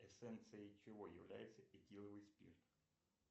эссенцией чего является этиловый спирт